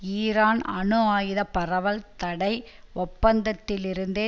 Iran அணு ஆயுத பரவல் தடை ஒப்பந்தத்திலிருந்தே